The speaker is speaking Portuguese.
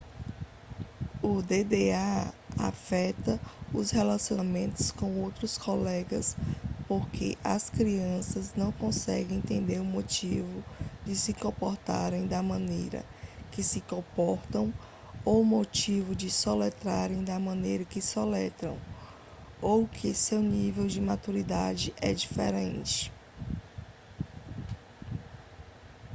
o dda afeta os relacionamentos com os outros colegas porque as outras crianças não conseguem entender o motivo de se comportarem da maneira que se comportam ou o motivo de soletrarem da maneira que soletram ou que o seu nível de maturidade é diferente